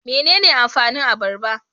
Mene ne amfanin abarba?